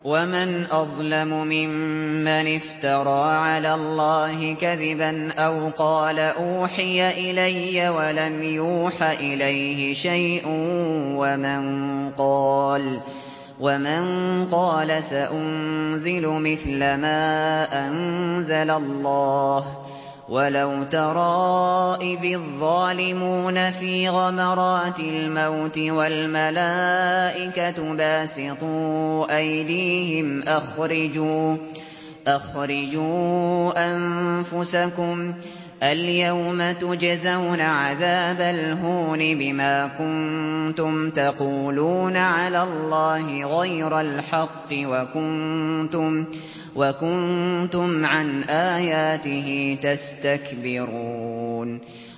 وَمَنْ أَظْلَمُ مِمَّنِ افْتَرَىٰ عَلَى اللَّهِ كَذِبًا أَوْ قَالَ أُوحِيَ إِلَيَّ وَلَمْ يُوحَ إِلَيْهِ شَيْءٌ وَمَن قَالَ سَأُنزِلُ مِثْلَ مَا أَنزَلَ اللَّهُ ۗ وَلَوْ تَرَىٰ إِذِ الظَّالِمُونَ فِي غَمَرَاتِ الْمَوْتِ وَالْمَلَائِكَةُ بَاسِطُو أَيْدِيهِمْ أَخْرِجُوا أَنفُسَكُمُ ۖ الْيَوْمَ تُجْزَوْنَ عَذَابَ الْهُونِ بِمَا كُنتُمْ تَقُولُونَ عَلَى اللَّهِ غَيْرَ الْحَقِّ وَكُنتُمْ عَنْ آيَاتِهِ تَسْتَكْبِرُونَ